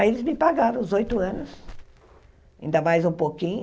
Aí eles me pagaram os oito anos, ainda mais um pouquinho,